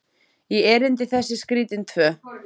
í erindi þessi skrítin tvö.